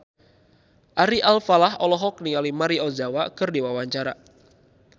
Ari Alfalah olohok ningali Maria Ozawa keur diwawancara